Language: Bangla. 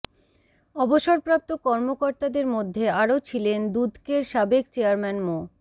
অবসরপ্রাপ্ত কর্মকর্তাদের মধ্যে আরও ছিলেন দুদকের সাবেক চেয়ারম্যান মো